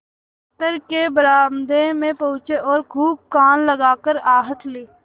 दफ्तर के बरामदे में पहुँचे और खूब कान लगाकर आहट ली